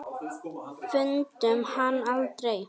Fundum hann aldrei.